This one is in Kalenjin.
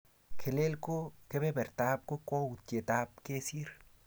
Kelel ko kepepertap kakwoutietap kesir